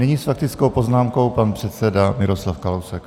Nyní s faktickou poznámkou pan předseda Miroslav Kalousek.